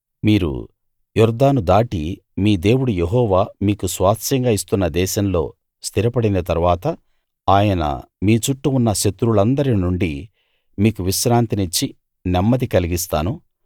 మీరు యొర్దాను దాటి మీ దేవుడు యెహోవా మీకు స్వాస్థ్యంగా ఇస్తున్న దేశంలో స్థిరపడిన తరువాత ఆయన మీ చుట్టూ ఉన్న శత్రువులందరి నుండి మీకు విశ్రాంతినిచ్చి నెమ్మది కలిగిస్తాను